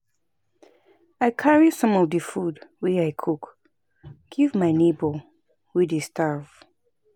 I carry some of di food wey I cook give my nebor wey dey starve.